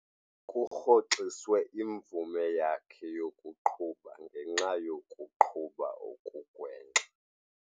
Kurhoxiswe imvume yakhe yokuqhuba ngenxa yokuqhuba okugwenxa.